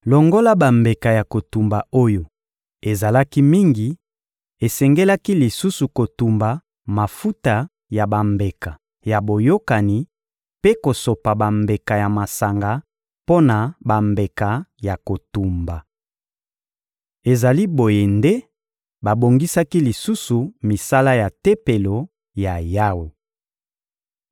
Longola bambeka ya kotumba oyo ezalaki mingi, esengelaki lisusu kotumba mafuta ya bambeka ya boyokani mpe kosopa bambeka ya masanga mpo na bambeka ya kotumba. Ezali boye nde babongisaki lisusu misala ya Tempelo ya Yawe.